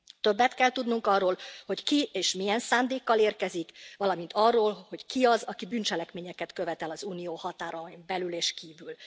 Többet kell tudnunk arról, hogy ki és milyen szándékkal érkezik, valamint arról, hogy ki az, aki bűncselekményeket követ el az Unió határain belül és kívül.